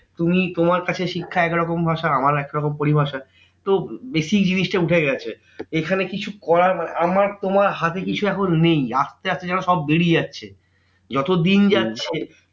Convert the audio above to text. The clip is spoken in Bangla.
তুমি তোমার কাছে শিক্ষা একরকম ভাষা আমার একরকম পরিভাষা। তো basic জিনিস টা উঠে গেছে। এখানে কিছু করার মানে, আমার তোমার হাতে কিছু এখন নেই আসতে আসতে যেন সব বেরিয়ে যাচ্ছে। যত দিন যাচ্ছে